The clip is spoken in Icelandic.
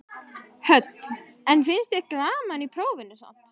Hödd: En finnst þér gaman í prófinu sjálfu?